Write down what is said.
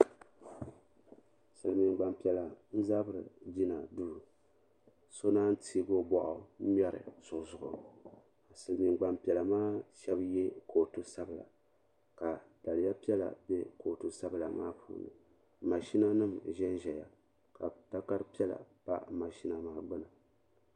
Silimiin gbanpiɛlla n zabri jina duu ka so naanyi teegi o boɣu nyɛri so zuɣu Silimiin gbampiɛla maa shɛba ye kootu sabila ka daliya piɛla be kootu sabla maa puuni mashina nima n ʒɛnʒɛya ka takari piɛla pa mashina maa gbini.